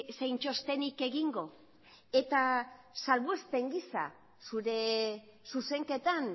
zein txostenik egingo eta salbuespen gisa zure zuzenketan